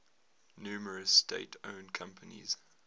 numerous state owned companies